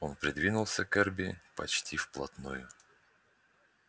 он придвинулся к эрби почти вплотную